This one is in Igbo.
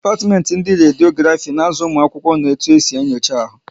Dipatimenti ndị Rediografi na azụ ụmụ akwụkwọ na otu esi enyocha ahu